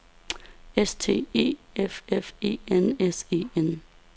S T E F F E N S E N